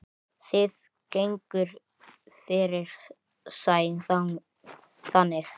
Það gengur fyrir sig þannig